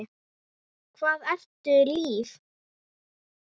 Hvað ertu líf?